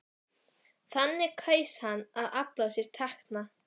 Þannig kaus hann að afla sér tekna.